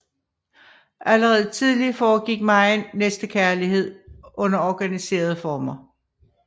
Allerede tidligt foregik megen næstekærlighed under organiserede former